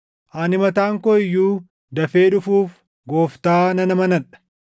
Ani mataan koo iyyuu dafee dhufuuf Gooftaa nan amanadha.